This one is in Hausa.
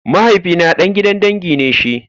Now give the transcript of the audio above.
Mahaifina ɗaga gidan dangi ne shi.